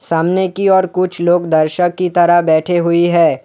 सामने की ओर कुछ लोग दर्शक की तरह बैठे हुई है।